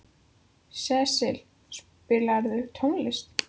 Sesil, spilaðu tónlist.